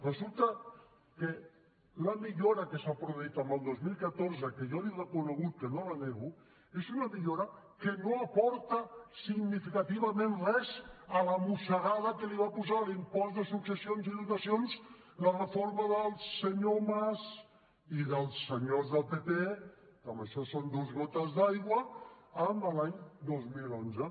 resulta que la millora que s’ha produït el dos mil catorze que jo l’he reconegut que no la nego és una millora que no aporta significativament res a la mossegada que va posar a l’impost de successions i donacions la reforma del senyor mas i dels senyors del partit popular que en això són dues gotes d’aigua l’any dos mil onze